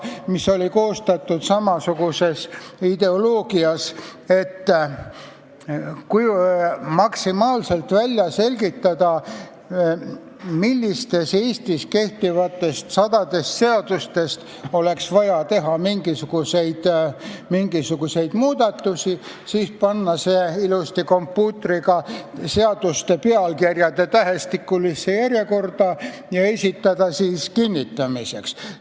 See oli koostatud samasuguse ideoloogia alusel, et selgitati võimalikult hästi välja, millistes sadadest kehtivatest seadustest oleks vaja teha mingisuguseid muudatusi, siis pandi seaduste pealkirjad kompuutriga ilusasti tähestikulisse järjekorda ja esitati eelnõu kinnitamiseks.